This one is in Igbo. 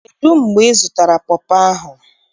Kedu mgbe izụtara pọpọ ahụ?